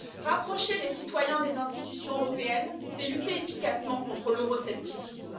Rapprocher les citoyens des institutions européennes, c'est lutter efficacement contre l'euroscepticisme.